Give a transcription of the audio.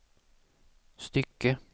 stycke